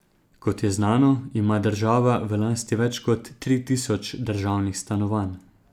Kot je znano, ima država v lasti več kot tri tisoč državnih stanovanj.